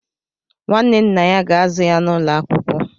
Nwanne nna ya ga-azụ ya n'ụlọ akwụkwọ.